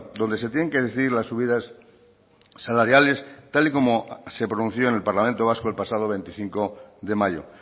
donde se tienen que decidir las subidas salariales tal y como se pronunció en el parlamento vasco el pasado veinticinco de mayo